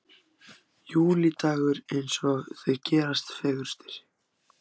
Júlídagur eins og þeir gerast fegurstir.